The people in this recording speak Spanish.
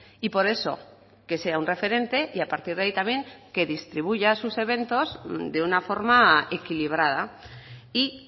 y por eso que sea un referente y a partir de ahí también que distribuya sus eventos de una forma equilibrada y